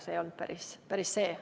See ei olnud päris see.